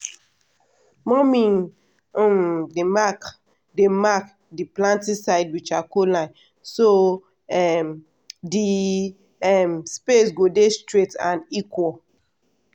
mummy um dey mark dey mark the planting side with charcoal line so um the um space go dey straight and equal.